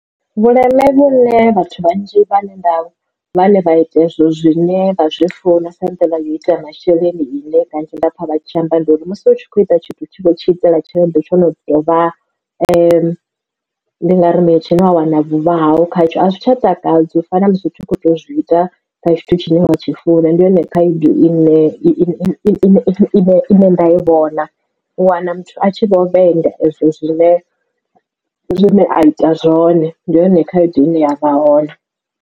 Vhuleme vhune vhathu vhanzhi vhane nda vhane vha ita hezwo zwine vha zwi funa sa nḓila yo ita masheleni ine kanzhi nda pfha vha tshi amba ndi uri musi utshi kho ita tshithu utshi khou tshi itela tshelede tsho no dovha ndi ngari mini tshine wana vhuvha haho khatsho a zwi tsha takadza u fana na zwithu u kho to zwi ita kha tshithu tshine wa tshi funa ndi yone khaedu ine nda i vhona u wana muthu a tshi vho vhenga ezwo zwine azwi ita zwone ndi yone khaedu ine ya vha hone.